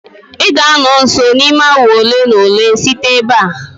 ị ga-anọ nso n'ime awa ole na ole site ebe a